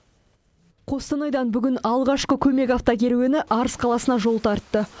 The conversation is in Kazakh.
қостанайдан бүгін алғашқы көмек автокеруені арыс қаласына жол тартты